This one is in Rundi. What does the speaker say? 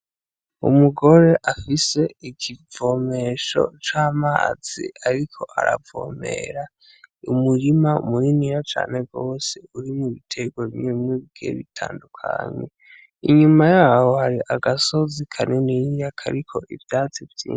Umugore afise ikivomesho c'amazi ariko aravomera umurima munininya cane gose urimwo ibiterwa bimwe bimwe bigiye bitandukanye, inyuma yaho hari agasozi kanininya kariko ivyatsi vyinshi.